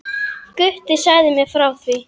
Gutti sagði mér frá því.